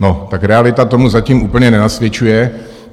No, tak realita tomu zatím úplně nenasvědčuje.